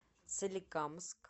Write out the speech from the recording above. соликамск